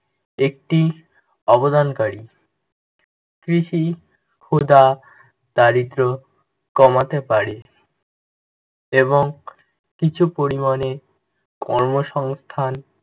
একটি অবদানকারী কৃষি ক্ষুদা, দারিদ্র্য কমাতে পারে এবং কিছু পরিমাণে কর্মসস্থান